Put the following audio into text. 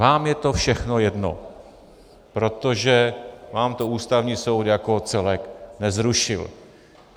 Vám je to všechno jedno, protože vám to Ústavní soud jako celek nezrušil.